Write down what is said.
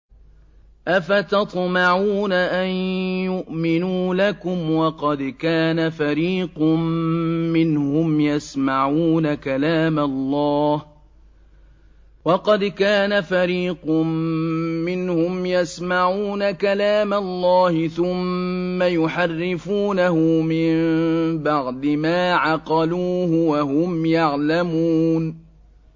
۞ أَفَتَطْمَعُونَ أَن يُؤْمِنُوا لَكُمْ وَقَدْ كَانَ فَرِيقٌ مِّنْهُمْ يَسْمَعُونَ كَلَامَ اللَّهِ ثُمَّ يُحَرِّفُونَهُ مِن بَعْدِ مَا عَقَلُوهُ وَهُمْ يَعْلَمُونَ